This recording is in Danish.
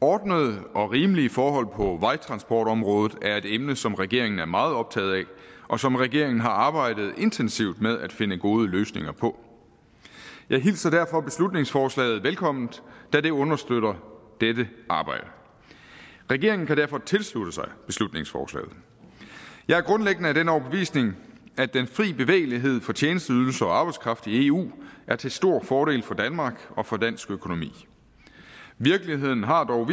ordnede og rimelige forhold på vejtransportområdet er et emne som regeringen er meget optaget af og som regeringen har arbejdet intensivt med at finde gode løsninger på jeg hilser derfor beslutningsforslaget velkommen da det understøtter dette arbejde regeringen kan derfor tilslutte sig beslutningsforslaget jeg er grundlæggende af den overbevisning at den fri bevægelighed for tjenesteydelser og arbejdskraft i eu er til stor fordel for danmark og for dansk økonomi virkeligheden har dog